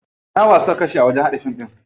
Nawa suka kashe a wajen haɗa fim?